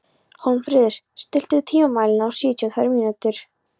Hólmfríður, stilltu tímamælinn á sjötíu og tvær mínútur.